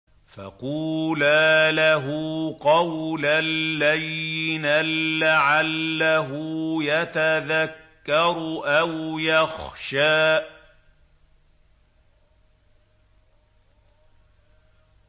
فَقُولَا لَهُ قَوْلًا لَّيِّنًا لَّعَلَّهُ يَتَذَكَّرُ أَوْ يَخْشَىٰ